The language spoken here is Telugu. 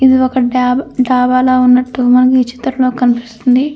ఇది ఒక డాబ్ డాబాల ఉన్నట్టు మనకి ఈ చిత్రంలో కనిపిస్తుంది.